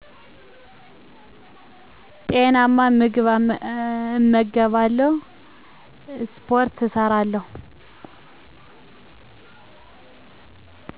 ጤናማ ምግብ እመገባለሁ እሰሰፖርት እሠራለሁ